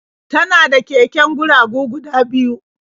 Tana da keken guragu guda biyu.